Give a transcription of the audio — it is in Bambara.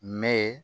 Mɛ